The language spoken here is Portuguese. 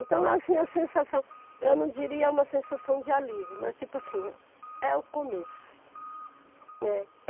Então assim, a sensação, eu não diria uma sensação de alívio, mas tipo assim, é o começo, né?